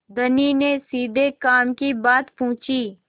धनी ने सीधे काम की बात पूछी